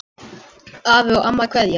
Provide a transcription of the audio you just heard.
Afi og amma kveðja